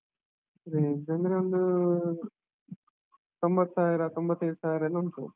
Range ಅಂದ್ರೆ ಒಂದೂ ತೊಂಭತ್ತ್ ಸಾವಿರ, ತೊಂಭತ್ತೈದು ಸಾವಿರ ಎಲ್ಲಾ ಉಂಟು.